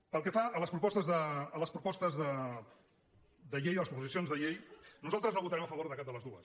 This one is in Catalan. pel que fa a les propostes de llei a les proposicions de llei nosaltres no votarem a favor de cap de les dues